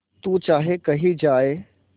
तू चाहे कही जाए